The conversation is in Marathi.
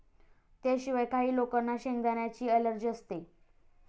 त्याशिवाय, काही लोकांना शेंगदाण्यांची अलर्जी असते.